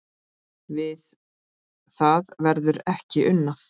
Við það verður ekki unað